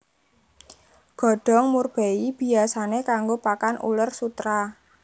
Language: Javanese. Godhong murbei biyasané kanggo pakan uler sutera